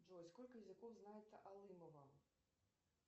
джой сколько языков знает алымова